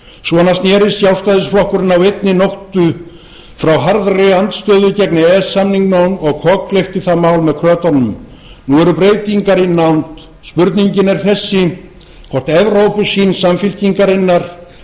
svona snerist sjálfstæðisflokkurinn á einni nóttu frá harðri andstöðu gegn e e s samningnum og kokgleypti það mál með krötunum nú eru breytingar í nánd spurningin er þessi hvort evrópusýn samfylkingarinnar